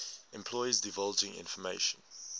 employees divulging information